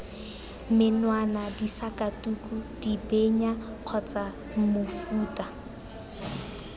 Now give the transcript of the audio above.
menwana disakatuku dibenya kgotsa mofuta